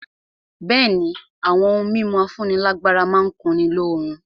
Bẹ̀ẹ́ni, àwọn ohun mímu afúnílágbára má n kunni lóorun.